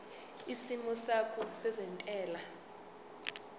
isimo sakho sezentela